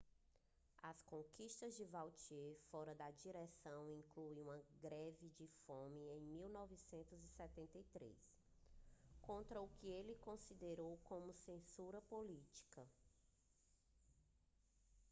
as conquistas de vautier fora da direção incluem uma greve de fome em 1973 contra o que ele considerou como censura política